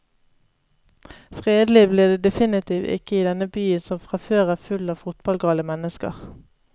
Fredelig blir det definitivt ikke i denne byen som fra før er full av fotballgale mennesker.